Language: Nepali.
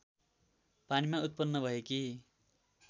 पानीमा उत्पन्न भएकी